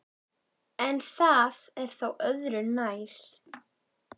En það er nú örðu nær.